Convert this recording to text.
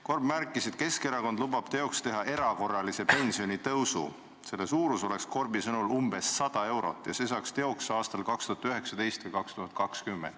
Korb märkis, et Keskerakond lubab teoks teha erakorralise pensionitõusu, selle suurus oleks Korbi sõnul umbes 100 eurot ja selle saaks teoks aastal 2019 või 2020.